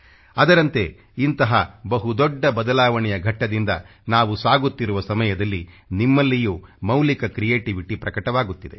ಅದರಂತೆ ಇಂಥ ಬಹು ದೊಡ್ಡ ಬದಲಾವಣೆಯ ಘಟ್ಟದಿಂದ ನಾವು ಸಾಗುತ್ತಿರುವ ಸಮಯದಲ್ಲಿ ನಿಮ್ಮಲ್ಲಿಯೂ ಮೌಲ್ಯಯುಕ್ತ ಕ್ರಿಯೇಟಿವಿಟಿ ಪ್ರಕಟವಾಗುತ್ತಿದೆ